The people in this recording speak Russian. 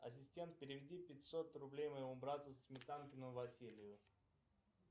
ассистент переведи пятьсот рублей моему брату сметанкину василию